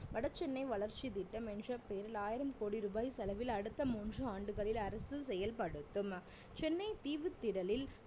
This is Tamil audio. வடசென்னை வளர்ச்சி திட்டம் என்ற பெயரில் ஆயிரம் கோடி ரூபாய் செலவில் அடுத்த மூண்று ஆண்டுகளில் அரசு செயல்படுத்தும் சென்னை தீவுத்திடலில்